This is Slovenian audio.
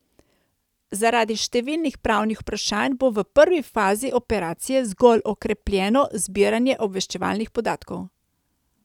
Zaradi številnih pravnih vprašanj bo v prvi fazi operacije zgolj okrepljeno zbiranje obveščevalnih podatkov.